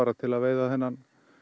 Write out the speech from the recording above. til að veiða þennan